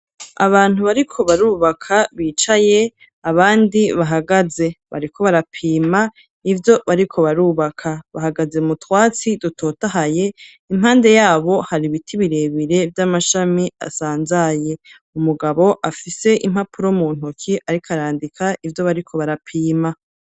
Abantu bariko barubaka bicaye, abandi bahagaze, bariko barapima ivyo bariko barubaka, bahagaze mu twatsi dutotahaye, impande yabo hari ibiti birebere vy'amashami asanzaye, umugabo afise impapuro mu ntoki ariko arandika ivyo bariko barapima.